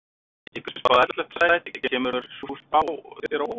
Ykkur er spáð ellefta sæti, kemur sú spá þér á óvart?